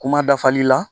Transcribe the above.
Kuma dafali la